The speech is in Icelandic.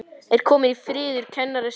Er kominn friður í kennarastéttinni?